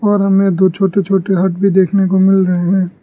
और हमें दो छोटे छोटे हट भी देखने को मिल रहे हैं।